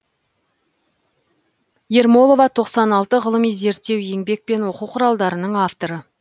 ермолова тоқсан алты ғылыми зерттеу еңбек пен оқу құралдарының авторы